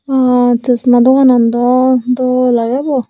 baa chosma doganan dw dol age bu.